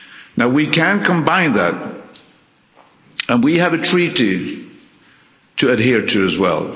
Now we can combine that and we have a treaty to adhere to as well.